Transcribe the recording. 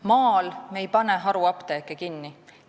Maal me ei pane haruapteeke kinni.